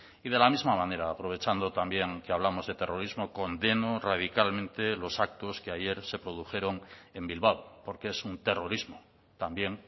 y de la misma manera aprovechando también que hablamos de terrorismo condeno radicalmente los actos que ayer se produjeron en bilbao porque es un terrorismo también